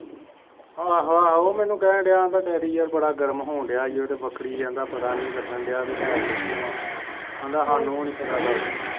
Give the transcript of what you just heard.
ਆਹ ਆਹ ਮੈਨੂੰ ਕੇਹਨ ਡੇਆ ਉਨ ਦਾ ਡੈਡੀ ਯਾਰ ਬੜਾ ਗਰਮ ਹੋਣ ਡੇਆ ਹੀ ਉਹਦਾ ਪਤਾ ਨੀ ਲੱਗਣ ਡੇਆ ਵੀ ਹੈ ਕਿਦੇ ਕੋ ਆ ਆਹੰਦਾ ਸਾਨੂੰ ਵੀ ਨੀ ਪਤਾ ਗੱਲ ਦਾ